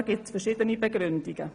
Dafür gibt es verschiedene Gründe.